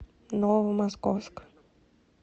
новомосковск